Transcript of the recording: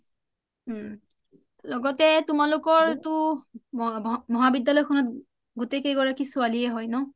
লগতে তোমালোকৰটো মহাবিদ্যালয় খনতটো গোটেই কেই গৰাকী ছোৱালীয়ে হয় ন